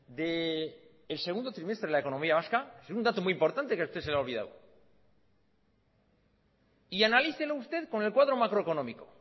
del segundo trimestre de la economía vasca es una dato muy importante que a este se le ha olvidado y analícelo usted con el cuadro macroeconómico